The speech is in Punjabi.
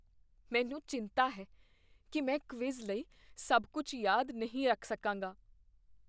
ਮੈਨੂੰ ਚਿੰਤਾ ਹੈ ਕੀ ਮੈਂ ਕਵਿਜ਼ ਲਈ ਸਭ ਕੁੱਝ ਯਾਦ ਨਹੀਂ ਰੱਖ ਸਕਾਂਗਾ।